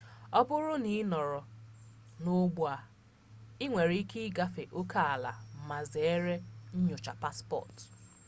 ọ bụrụ na ị nọrọ n'ọgbọ a i nwere ike igafe oke ala ma zere nnyocha paspọtụ